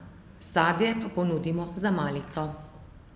Sadje pa ponudimo za malico.